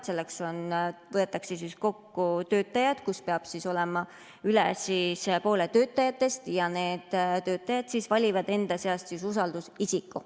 Selleks võetakse töötajad kokku, peab olema kohal üle poole töötajatest ja need töötajad valivad enda seast usaldusisiku.